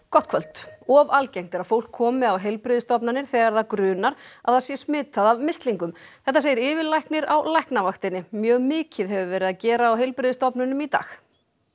gott kvöld of algengt er að fólk komi á heilbrigðisstofnanir þegar það grunar að það sé smitað af mislingum þetta segir yfirlæknir á Læknavaktinni mjög mikið hefur verið að gera á heilbrigðisstofnunum í dag